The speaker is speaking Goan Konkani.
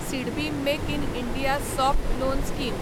SIDBI make in India soft loan scheme